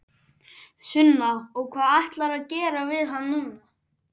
Sunna: Og hvað ætlarðu að gera við hann núna?